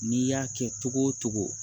N'i y'a kɛ togo o togo